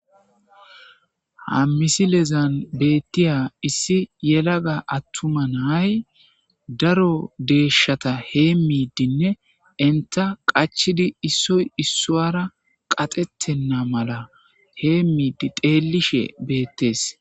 Hammisilezan beettiya issi yelaga attuma naay daro deeshata hee miidinne inta qachidi issoy issoara qaxettenna mala hee miidi deelishe beettes.